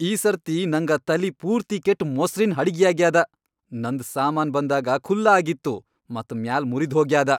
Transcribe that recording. ಈ ಸರ್ತಿ ನಂಗ ತಲಿ ಪೂರ್ತಿ ಕೆಟ್ಟ್ ಮೊಸ್ರಿನ್ ಹಡಿಗ್ಯಾಗ್ಯಾದ. ನಂದ್ ಸಾಮಾನ್ ಬಂದಾಗ ಖುಲ್ಲಾ ಆಗಿತ್ತು ಮತ್ ಮ್ಯಾಲ್ ಮುರಿದ್ಹೋಗ್ಯಾದ.